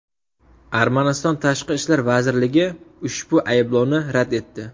Armaniston Tashqi ishlar vazirligi ushbu ayblovni rad etdi.